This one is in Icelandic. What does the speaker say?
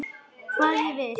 Hvað ég vil.